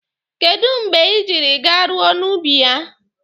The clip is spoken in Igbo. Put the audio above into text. Kedụ mgbe ị jiri garuo n'ubi ya?